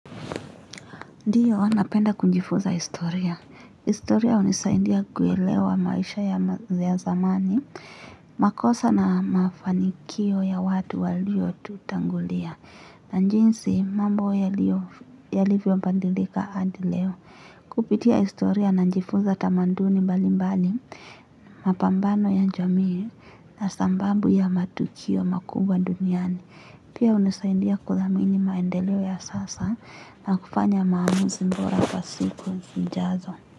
Ndiyo, napenda kujifunza historia. Historia unisaidia kuelewa maisha ya ma ya zamani, makosa na mafanikio ya watu walio tutangulia, na njinsi mambo yaliyo, yalivyo badilika hadi leo. Kupitia historia najifunza tamanduni mbalimbali, mapambano ya jamii na sambabu ya matukio makubwa duniani. Pia unisaidia kudhamini maendeleo ya sasa, na kufanya maamuzi mbora kwa siku zijazo.